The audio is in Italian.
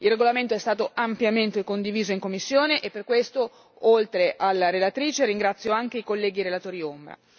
Il regolamento è stato ampiamente condiviso in commissione e per questo oltre alla relatrice ringrazio anche i colleghi relatori ombra.